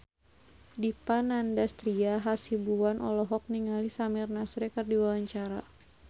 Dipa Nandastyra Hasibuan olohok ningali Samir Nasri keur diwawancara